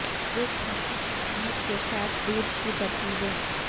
ایک کھانسی سے شہد کے ساتھ دودھ کی ترکیبیں